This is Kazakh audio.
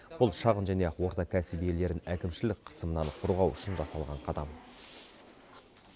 бұл шағын және орта кәсіп иелерін әкімшілік қысымнан қорғау үшін жасалған қадам